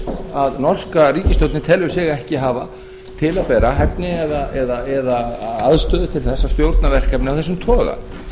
að norska ríkisstjórnin telur sig ekki hafa til að bera hæfni eða aðstöðu til þess að stjórna verkefni af þessum toga